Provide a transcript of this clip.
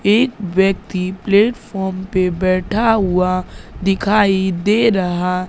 एक व्यक्ति प्लेटफार्म पे बैठा हुआ दिखाई दे रहा--